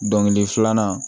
Don kelen filanan